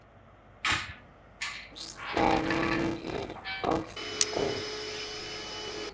Ástæðan er oftast óþekkt.